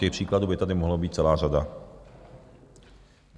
Těch příkladů by tady mohlo být celá řada.